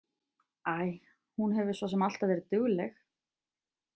Æ, hún hefur svo sem alltaf verið dugleg.